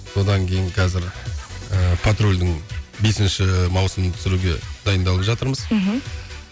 содан кейін қазір ыыы патрульдің бесінші маусымын түсіруге дайындалып жатырмыз мхм